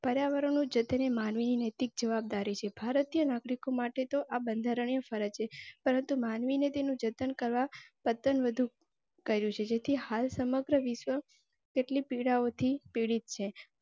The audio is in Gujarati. પર્યાવરણનું જતન એ માનવી નૈતિક જવાબદારી છે. ભારતીય નાગરિકો માટે તો આ બંધારણીય ફરજો, પરંતુ માનવીને તેનું જતન કરવા કહ્યું છે. જેથી હાલ સમગ્ર વિશ્વ કેટલી પીડાઓ થી પીડિત છે.